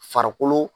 Farikolo